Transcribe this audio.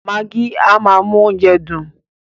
Magí máa ń mú oúnjẹ dùn.